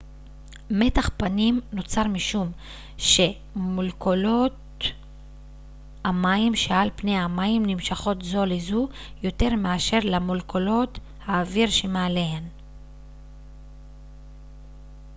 מתח פנים נוצר משום שמולקולות המים שעל פני המים נמשכות זו לזו יותר מאשר למולקולות האוויר שמעליהן